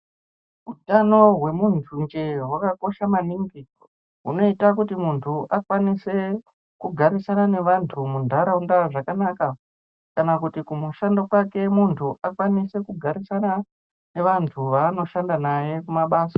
Utano hwemunthu njee hwakakosha maningi hunoita kuti munhu akwanise kugarisana nevanthu muntaraunda zvakanaka kana kuti kumushando kwake munthu akone kugarisana neanthu aanoshanda naye kumabasa.